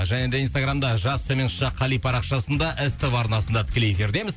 және де инстаграмда жас төмен ш қали парақшасында ств арнасында тікелей эфирдеміз